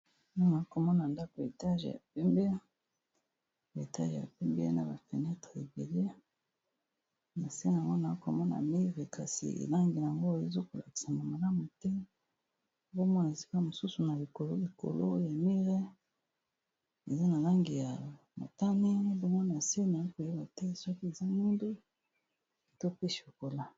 mamaa komona ndako etage ya pembe etage ya pembe na bafenetre ebele na sena monaa komona mire kasi elangi yango eza kolakisa ma malamu te bomona esika mosusu na likolo likolo ya mire eza na langi ya motani bomona senaya koyeba te soki eza nindo topeshi okola